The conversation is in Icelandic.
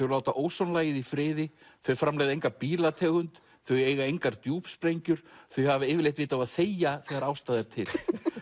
láta ósonlagið í friði þau framleiða enga bílategund þau eiga engar þau hafa yfirleitt vit á að þegja þegar ástæða er til